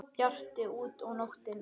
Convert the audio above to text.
Bjart úti og nóttin horfin.